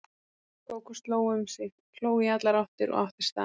Kókó sló um sig, hló í allar áttir og átti staðinn.